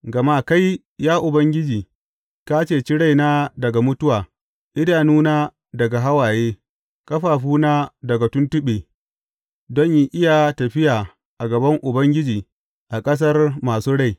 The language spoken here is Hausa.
Gama kai, ya Ubangiji, ka ceci raina daga mutuwa, idanuna daga hawaye, ƙafafuna daga tuntuɓe, don in iya tafiya a gaban Ubangiji a ƙasar masu rai.